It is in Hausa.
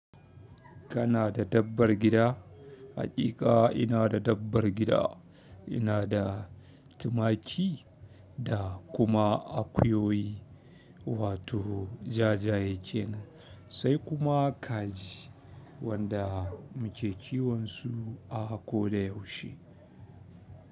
Kana da dabbar gida? Haƙiƙa ina da dabbar gida. Ina da tumaki da kuma akuyoyi wato jajaye kenan sai kuma kaji wanda muke kiwan su a ko da yaushe.